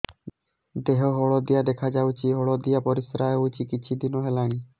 ଦେହ ହଳଦିଆ ଦେଖାଯାଉଛି ହଳଦିଆ ପରିଶ୍ରା ହେଉଛି କିଛିଦିନ ହେଲାଣି